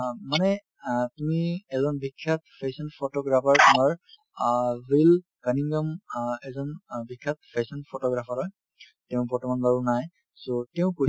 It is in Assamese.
অ, মানে অ তুমি এজন বিখ্যাত fashion photographer আমাৰ অ অ এজন অ বিখ্যাত fashion photographer হয় তেওঁ বৰ্তমান বাৰু নাই so তেওঁ কৈছিল